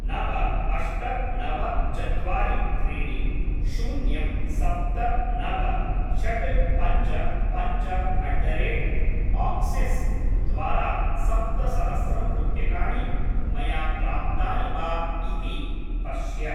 नव अष्ट नव चत्वारि त्रीणि शून्यं सप्त नव षट् पञ्च पञ्च अट् द रेट् आक्सिस् द्वारा सप्तसहस्रं रूप्यकाणि मया प्राप्तानि वा इति पश्य।